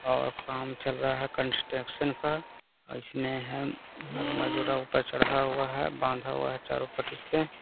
और काम चल रहा है कंस्ट्रक्शन का और इसमें है मरमदूरा ऊपर चढ़ा हुआ है बांधा हुआ है चारों पट से।